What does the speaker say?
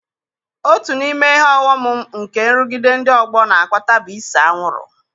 Otu n'ime ihe ọghọm nke nrụgide ndị ọgbọ n'akpata bụ ise anwụrụ.